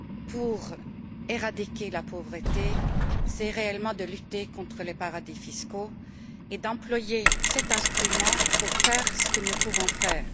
pour éradiquer la pauvreté, c'est réellement de lutter contre les paradis fiscaux, et d'employer cet instrument pour faire ce que nous pouvons faire.